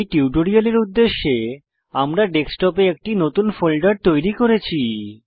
এই টিউটোরিয়ালের উদ্দেশ্যে আমরা ডেস্কটপে একটি নতুন ফোল্ডার তৈরি করেছি